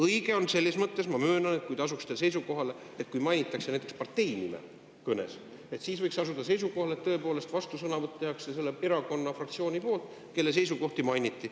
Õige on see, ma möönan, et kui mainitakse kõnes näiteks partei nime, siis võiksite asuda seisukohale, et vastusõnavõtt tehakse tõepoolest selle erakonna fraktsiooni nimel, kelle seisukohti mainiti.